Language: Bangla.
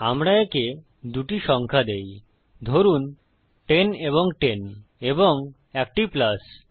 আমরা একে দুটি সংখ্যা দেই ধরুন 10 এবং 10 এবং একটি প্লাস